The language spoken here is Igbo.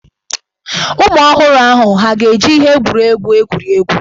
Ụmụ ọhụrụ ahụ hà ga-eji ihe egwuregwu egwuri egwu?